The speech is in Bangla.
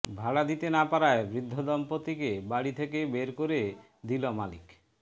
ভাড়া দিতে না পারায় বৃদ্ধ দম্পতিকে বাড়ি থেকে বের করে দিল মালিক